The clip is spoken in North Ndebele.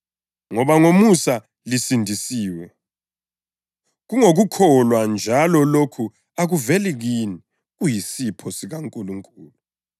Ngoba ngomusa lisindisiwe, kungokukholwa njalo lokhu akuveli kini, kuyisipho sikaNkulunkulu,